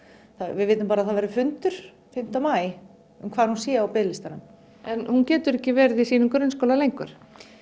við vitum bara að það verður fundur fimmta maí um hvar hún sé á biðlistanum en hún getur ekki verið í sínum grunnskóla lengur